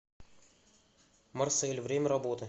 марсель время работы